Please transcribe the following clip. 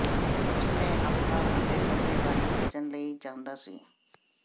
ਉਸ ਨੇ ਅਫਵਾਹ ਅਤੇ ਸੱਟੇਬਾਜ਼ੀ ਬਚਣ ਲਈ ਚਾਹੁੰਦਾ ਸੀ